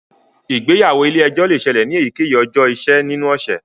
Ìgbéyàwó ilè ejó le ṣẹlẹ ní eyikeyi ọjọ iṣẹ ninu ọsẹ.